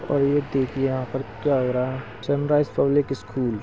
--और ये देखिये यहाँ पर क्या हो रहा है सनराइज पब्लिक स्कूल --